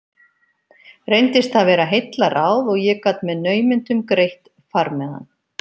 Reyndist það vera heillaráð og ég gat með naumindum greitt farmiðann.